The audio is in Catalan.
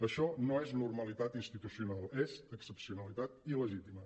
això no és normalitat institucional és ex·cepcionalitat il·legítima